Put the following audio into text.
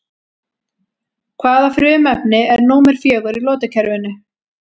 Hvaða frumefni er númer fjögur í lotukerfinu?